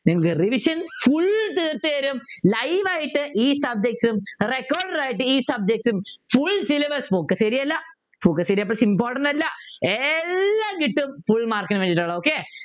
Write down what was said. നിങ്ങക്ക് Revision full തീർത്തു തരും live ആയിട്ട് ഈ subjects ഉം recorder ആയിട്ട് ഈ subjects ഉം full syllabus focus area അല്ല focus area പ്പോ important അല്ല എല്ലാം കിട്ടും full mark നു വേണ്ടിട്ടുള്ളത് Okay